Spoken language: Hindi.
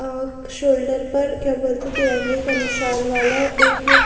अ शोल्डर पर क्या बोलते तिरंगे का निशान वाला एक--